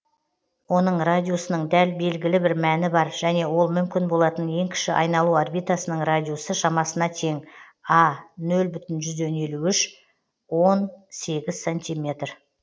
оның радиусының дәл белгілі бір мәні бар және ол мүмкін болатын ең кіші айналу орбитасының радиусы шамасына тең а нөл бүтін жүзден елу үш он сегіз сантиметр